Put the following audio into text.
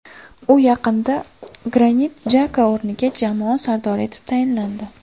U yaqinda Granit Jaka o‘rniga jamoa sardori etib tayinlandi.